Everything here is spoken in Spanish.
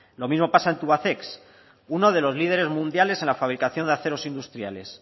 lo mismo pasa en tubacex uno de los líderes mundiales en la fabricación de aceros industriales